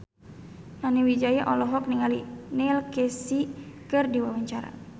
Nani Wijaya olohok ningali Neil Casey keur diwawancara